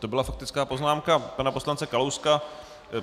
To byla faktická poznámka pana poslance Kalouska.